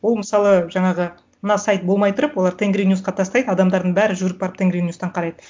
ол мысалы жаңағы мына сайт болмай тұрып олар тенгриньюсқа тастайды адамдардың бәрі жүгіріп барып тенгриньюстан қарайды